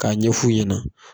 K'a ɲɛf'u ɲɛna